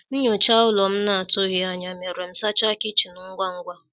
Nnyocha ụlọ m na atụghi anya ya mere m sacha kichin ngwa ngwa